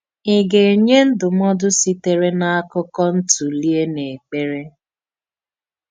Ị gà-ènýè ndúmòdù sitere n’ákụ́kọ̀ ntụ̀lìè n’èkpèrè?